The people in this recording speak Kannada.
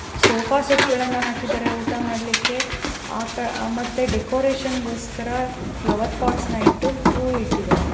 ಸೋಫಾ ಸೆಟ್ ಗಳನ್ನ ಹಾಕಿದರೆ ಊಟ ಮಾಡ್ಲಿಕೆ ಆ ಕಡೆ ಮತ್ತೆ ಡೆಕೋರೇಷನಿಗೋಸ್ಕರ ಫ್ಲವರ್ ಪೊಟ್ ಇಟ್ಟು ಹೂ ಇಟ್ಟಿದರೆ.